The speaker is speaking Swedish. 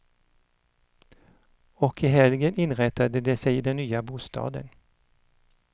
Och i helgen inrättade de sig i den nya bostaden.